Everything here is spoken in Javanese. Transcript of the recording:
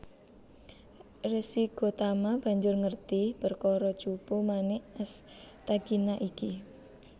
Resi Gotama banjur ngerti perkara Cupu Manik Astagina iki